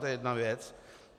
To je jedna věc.